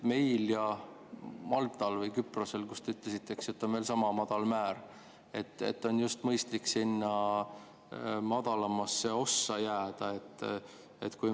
Meil ja Maltal või Küprosel, nagu te ütlesite, on veel sama madal määr, et on just mõistlik sinna madalamasse ossa jääda.